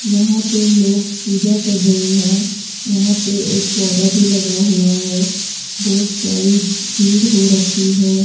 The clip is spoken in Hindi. यहां पे लोग पूजा कर रहे हैं वहां पे एक पौधा भी लगा हुआ है बहोत सारी भीड़ हो रखी है।